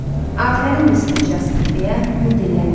Afərin, Mister Jasper, deyə Myor dilləndi.